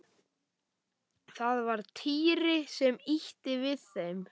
Það var Týri sem ýtti við þeim.